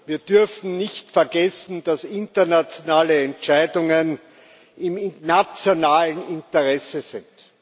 Wir dürfen nicht vergessen, dass internationale Entscheidungen im nationalen Interesse sind.